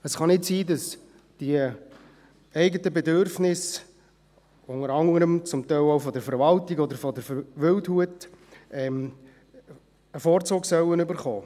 Es kann nicht sein, dass die eigenen Bedürfnisse, unter anderem auch jene der Verwaltung oder der Wildhut, bevorzugt werden sollen.